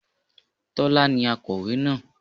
Tọ́lá ni akọ̀wé náà